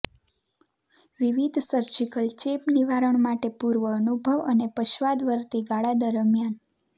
વિવિધ સર્જિકલ ચેપ નિવારણ માટે પૂર્વઅનુભવ અને પશ્ચાદવર્તી ગાળા દરમિયાન